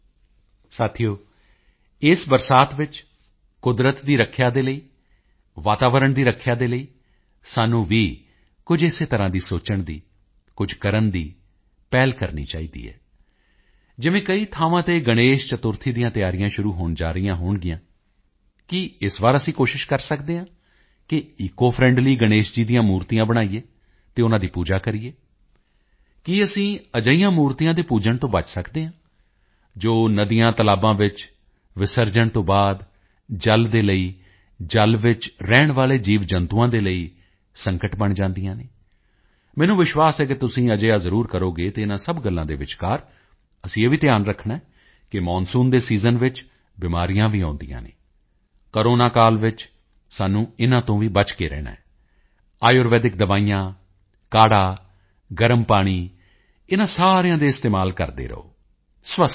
ਸਾਥੀਓ ਇਸ ਬਰਸਾਤ ਵਿੱਚ ਕੁਦਰਤ ਦੀ ਰੱਖਿਆ ਦੇ ਲਈ ਵਾਤਾਵਰਣ ਦੀ ਰੱਖਿਆ ਦੇ ਲਈ ਸਾਨੂੰ ਵੀ ਕੁਝ ਇਸੇ ਤਰ੍ਹਾਂ ਸੋਚਣ ਦੀ ਕੁਝ ਕਰਨ ਦੀ ਪਹਿਲ ਕਰਨੀ ਚਾਹੀਦੀ ਹੈ ਜਿਵੇਂ ਕਈ ਥਾਵਾਂ ਤੇ ਗਣੇਸ਼ ਚਤੁਰਥੀ ਦੀਆਂ ਤਿਆਰੀਆਂ ਸ਼ੁਰੂ ਹੋਣ ਜਾ ਰਹੀਆਂ ਹੋਣਗੀਆਂ ਕੀ ਇਸ ਵਾਰ ਅਸੀਂ ਕੋਸ਼ਿਸ਼ ਕਰ ਸਕਦੇ ਹਾਂ ਕਿ ਈਕੋਫ੍ਰੈਂਡਲੀ ਗਣੇਸ਼ ਜੀ ਦੀਆਂ ਮੂਰਤੀਆਂ ਬਣਾਈਏ ਅਤੇ ਉਨ੍ਹਾਂ ਦੀ ਪੂਜਾ ਕਰੀਏ ਕੀ ਅਸੀਂ ਅਜਿਹੀਆਂ ਮੂਰਤੀਆਂ ਦੇ ਪੂਜਣ ਤੋਂ ਬਚ ਸਕਦੇ ਹਾਂ ਜੋ ਨਦੀਤਲਾਬਾਂ ਵਿੱਚ ਵਿਸਰਜਣ ਤੋਂ ਬਾਅਦ ਜਲ ਦੇ ਲਈ ਜਲ ਵਿੱਚ ਰਹਿਣ ਵਾਲੇ ਜੀਵਜੰਤੂਆਂ ਦੇ ਲਈ ਸੰਕਟ ਬਣ ਜਾਂਦੀਆਂ ਹਨ ਮੈਨੂੰ ਵਿਸ਼ਵਾਸ ਹੈ ਕਿ ਤੁਸੀਂ ਅਜਿਹਾ ਜ਼ਰੂਰ ਕਰੋਗੇ ਅਤੇ ਇਨ੍ਹਾਂ ਸਭ ਗੱਲਾਂ ਦੇ ਵਿਚਕਾਰ ਅਸੀਂ ਇਹ ਵੀ ਧਿਆਨ ਰੱਖਣਾ ਹੈ ਕਿ ਮੌਨਸੂਨ ਦੇ ਸੀਜ਼ਨ ਵਿੱਚ ਬਿਮਾਰੀਆਂ ਵੀ ਆਉਂਦੀਆਂ ਹਨ ਕੋਰੋਨਾ ਕਾਲ ਵਿੱਚ ਸਾਨੂੰ ਇਨ੍ਹਾਂ ਤੋਂ ਵੀ ਬਚ ਕੇ ਰਹਿਣਾ ਹੈ ਆਯੁਰਵੇਦਿਕ ਦਵਾਈਆਂ ਕਾੜ੍ਹਾ ਗਰਮ ਪਾਣੀ ਇਨ੍ਹਾਂ ਸਾਰਿਆਂ ਦੇ ਇਸਤੇਮਾਲ ਕਰਦੇ ਰਹੋ ਸਵਸਥ ਰਹੋ